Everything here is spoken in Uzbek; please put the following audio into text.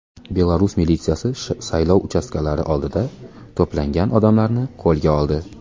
Belarus militsiyasi saylov uchastkalari oldida to‘plangan odamlarni qo‘lga oldi .